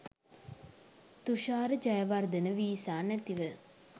Thushara Jayawardena visa නැතිව